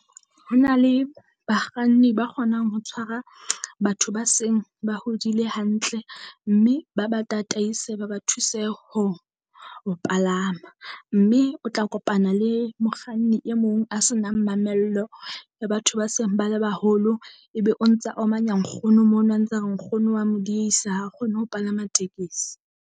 Ho na le bakganni ba kgonang ho tshwara batho ba seng ba hodile hantle, mme ba ba tataise ba ba thuse ho ho Palama. Mme o tla kopana le mokganni e mong a senang mamello Batho ba seng bale baholo, ebe o ntsa omanya nkgono mono a ntsa re nkgono wa mo diehisa ha kgone ho palama tekesi.